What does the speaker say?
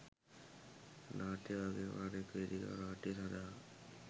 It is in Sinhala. නාට්‍ය වගේම අනෙක් වේදිකා නාට්‍ය සඳහා